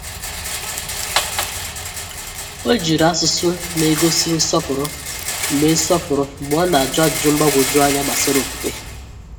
O jiri asụsụ n'egosi nsọpụrụ mgbe nsọpụrụ mgbe ọ na-ajụ ajụjụ mgbagwoju anya gbasara okwukwe.